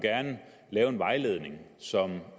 lave en vejledning som